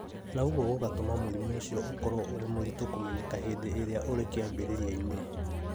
na ũguo gũgatũma mũrimũ ũcio ũkorũo ũrĩ mũritũ kũmenyeka hĩndĩ ĩrĩa ũrĩ kĩambĩrĩria-inĩ.